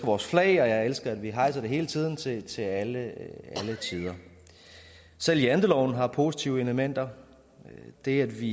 vores flag og jeg elsker at vi hejser det hele tiden til til alle tider selv janteloven har positive elementer det at vi